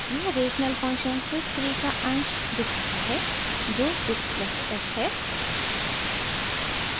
यह rational function sys 3 का अंश numerator दिखाता है जो 6 + s है